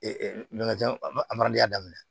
ɲamajan adamadenya daminɛ